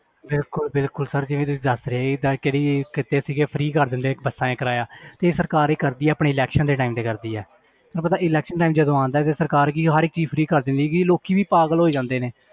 ਬਿਲਕੁਲ ਬਿਲਕੁਲ sir ਜਿਵੇਂ ਤੁਸੀਂ ਦੱਸ ਰਹੇ free ਕਰ ਦਿੰਦੇ ਇੱਕ ਬੱਸਾਂ ਦਾ ਕਿਰਾਇਆ ਤੇ ਸਰਕਾਰ ਇਹ ਕਰਦੀ ਆ ਆਪਣੇ election ਦੇ time ਤੇ ਕਰਦੀ ਆ ਤੈਨੂੰ ਪਤਾ election time ਜਦੋਂ ਆਉਂਦਾ ਤੇ ਸਰਕਾਰ ਕੀ ਹਰ ਇੱਕ ਚੀਜ਼ free ਕਰ ਦਿੰਦੀ ਹੈ ਕਈ ਲੋਕੀ ਵੀ ਪਾਗਲ ਹੋਈ ਜਾਂਦੇ ਨੇ,